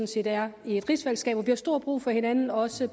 set er i et rigsfællesskab hvor vi har stor brug for hinanden også